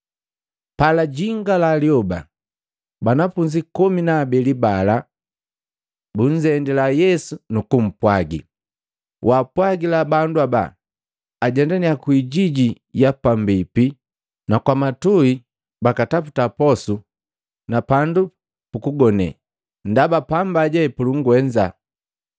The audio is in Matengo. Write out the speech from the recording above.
Palajingala lyoba, banafunzi komi na abeli bala bunzendila Yesu nukumpwagi, “Waapwagila bandu haba ajendaninnya kwijiji ya pambipi na kwamatui bakataputa posu na pandu pukugone, ndaba pamba je pulungwenza.”